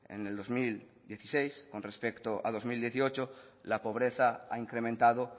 en el dos mil dieciséis con respecto a dos mil dieciocho la pobreza ha incrementado